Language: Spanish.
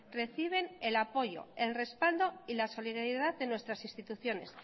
reciben el apoyo el respaldo y la solidaridad de nuestras instituciones